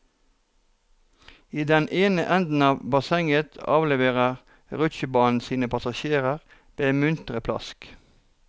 I den ene enden av bassenget avleverer rutsjebanen sine passasjerer med muntre plask.